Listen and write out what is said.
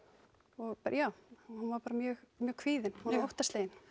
og bara já hún var bara mjög kvíðin og óttaslegin